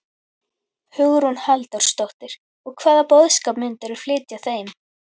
Hugrún Halldórsdóttir: Og hvaða boðskap myndirðu flytja þeim?